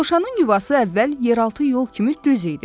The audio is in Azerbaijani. Dovşanın yuvası əvvəl yeraltı yol kimi düz idi.